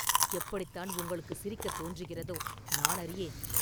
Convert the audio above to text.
எப்படித்தான் உங்களுக்கு சிரிக்கத் தோன்றுகிறதோ, நான் அறியேன்.